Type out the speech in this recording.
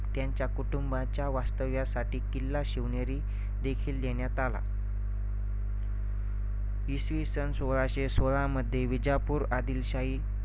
त्यांचा कुटुंबाच्या वास्तव्यासाठी किल्ला शिवनेरी देखील देण्यात आला. इसवि सन सोळाशे सोळा मध्ये विजापूर आदिलशाही